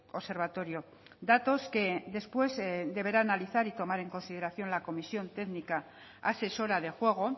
observatorio datos que después deberá analizar y tomar en consideración la comisión técnica asesora de juego